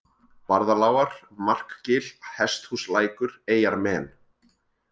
Barðalágar, Markgil, Hesthúslækur, Eyjarmen